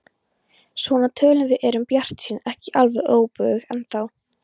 Svona tölum við og erum bjartsýn, ekki alveg óbuguð ennþá.